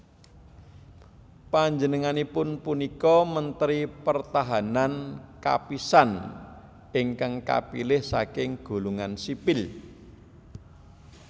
Panjenenganipun punika Mentri Pertahanan kapisan ingkang kapilih saking golongan sipil